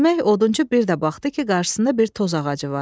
Demək odunçu bir də baxdı ki, qarşısında bir toz ağacı var.